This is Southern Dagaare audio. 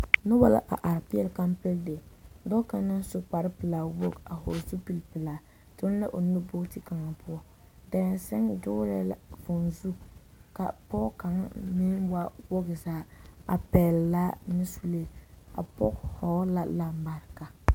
Noba la a are peɛle kampɛle dere, dɔɔ kaŋ naŋ su kpare pelaa wogi a hɔɔle zupili pelaa toŋ la a nu booti kaŋa poɔ, daresane doolɛɛ la vūū zu ka pɔge kaŋa meŋ waa wogi zaa a pɛgele laa ne sulee, a pɔge hɔɔle la lambareka.